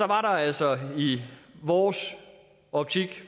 der altså i vores optik